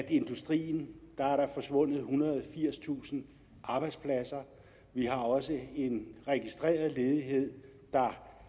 i industrien er forsvundet ethundrede og firstusind arbejdspladser vi har også en registreret ledighed der